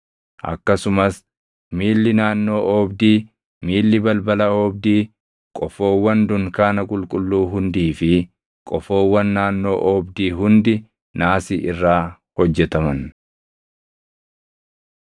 akkasumas miilli naannoo oobdii, miilli balbala oobdii, qofoowwan dunkaana qulqulluu hundii fi qofoowwan naannoo oobdii hundi naasii irraa hojjetaman.